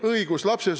Õigus!